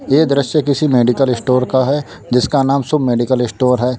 ये दृश्य किसी मेडिकल स्टोर का है जिसका नाम शुभ मेडिकल स्टोर है।